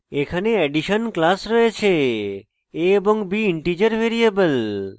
এখানে addition class রয়েছে a এবং b integer ভ্যারিয়েবল